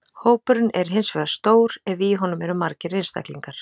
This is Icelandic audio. Hópurinn er hins vegar stór ef í honum eru margir einstaklingar.